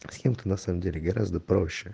с кем ты на самом деле гораздо проще